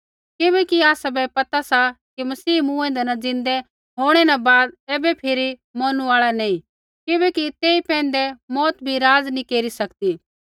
किबैकि आसाबै पता सा कि मसीह मूँएंदै न ज़िन्दै होंणै न बाद ऐबै फिरी मौरनु आल़ा नैंई किबैकि तेई पैंधै मौत भी राज नैंई केरी सकदी